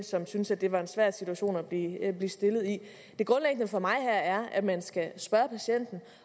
som synes at det var en svær situation at blive stillet i det grundlæggende for mig her er at man skal spørge patienten